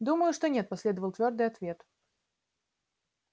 думаю что нет последовал твёрдый ответ